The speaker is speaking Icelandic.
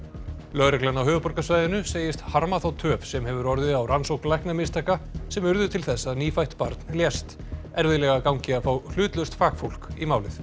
lögreglan á höfuðborgarsvæðinu segist harma þá töf sem hefur orðið á rannsókn læknamistaka sem urðu til þess að nýfætt barn lést erfiðlega gangi að fá hlutlaust fagfólk í málið